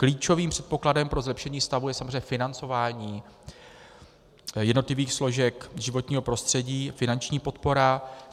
Klíčovým předpokladem pro zlepšení stavu je samozřejmě financování jednotlivých složek životního prostředí, finanční podpora.